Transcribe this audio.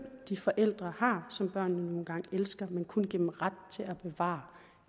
de forældre har som børnene nu engang elsker men kun give dem ret til at bevare